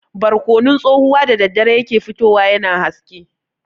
Barkonon tsohuwa da daddare ya ke fitowa yana haske.